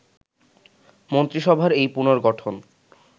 মন্ত্রিসভার এই পুনর্গঠন